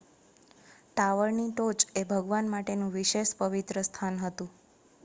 ટાવરની ટોચ એ ભગવાન માટેનું વિશેષ પવિત્ર સ્થાન હતું